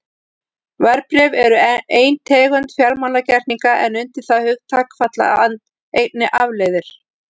Verðbréf eru ein tegund fjármálagerninga en undir það hugtak falla einnig afleiður.